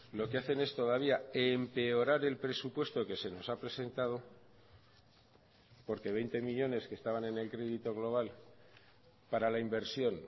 lo que hacen es todavía empeorar el presupuesto que se nos ha presentado porque veinte millónes que estaban en el crédito global para la inversión